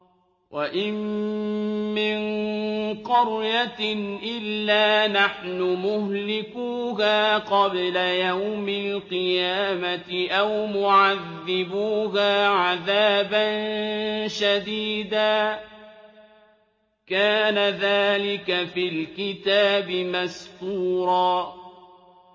وَإِن مِّن قَرْيَةٍ إِلَّا نَحْنُ مُهْلِكُوهَا قَبْلَ يَوْمِ الْقِيَامَةِ أَوْ مُعَذِّبُوهَا عَذَابًا شَدِيدًا ۚ كَانَ ذَٰلِكَ فِي الْكِتَابِ مَسْطُورًا